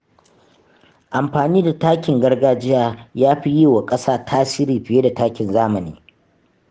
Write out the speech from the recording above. Amfani da takin gargajiya yafi yi wa ƙasa tasiri fiye da takin zamani.